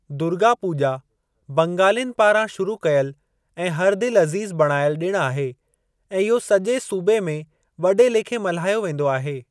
दुर्गा पूॼा बंगालिनि पारां शुरू कयल ऐं हर दिलि अज़ीज़ु बणायलु ॾिणु आहे ऐं इहो सॼे सूबे में वॾे लेखे मल्हायो वेंदो आहे।